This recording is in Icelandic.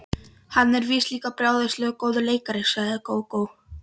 Hann er víst líka brjálæðislega góður leikari, sagði Gógó.